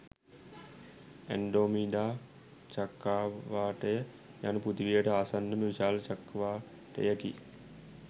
Andromeda චක්‍රාවාටය යනු පෘථිවියට ආසන්නම විශාල චක්‍රාවාටයකි.